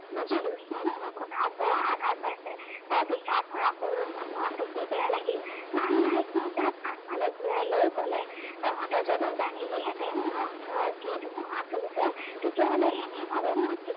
বুজিলো সি মোৰ কথাত বৰ আঘাত পাইছে। তাৰ বিষাদ ভৰা কৰুণ মুখখন দেখি বেয়া লাগিল। লাহে লাহে শিলপাত আনফালে ঘূৰাই লৈ কলে, তহঁতে যদি জানিলিহেঁতেন মোৰ অন্তৰত কি ধুমুহা চলিছে, তেতিয়াহলে এনেভাৱে মোক